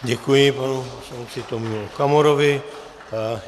Děkuji, panu poslanci Tomiu Okamurovi.